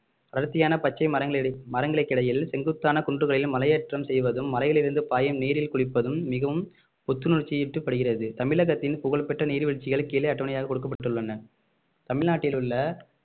அடர்த்தியான பச்சை மரங்களு~ மரங்களுக்கிடையில் செங்குத்தான குன்றுகளில் மலையேற்றம் செய்வதும் மலையிலிருந்து பாயும் நீரில் குளிப்பதும் மிகவும் புத்துணர்ச்சி ஊட்டப்படுகிறது தமிழகத்தின் புகழ்பெற்ற நீர்வீழ்ச்சிகள் கீழே அட்டவணையாக கொடுக்கப்பட்டுள்ளன தமிழ்நாட்டில் உள்ள